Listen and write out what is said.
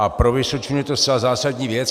A pro Vysočinu je to zcela zásadní věc.